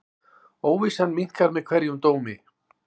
Óvissan minnkar með hverjum dómi.